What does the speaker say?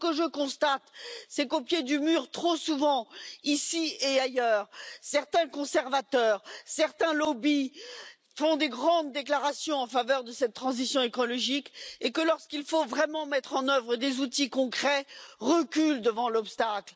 Or, ce que je constate, c'est qu'au pied du mur, trop souvent, ici et ailleurs, certains conservateurs et certains lobbies font de grandes déclarations en faveur de cette transition écologique et, lorsqu'il faut vraiment mettre en œuvre des outils concrets, ils reculent devant l'obstacle.